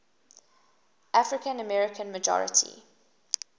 african american majority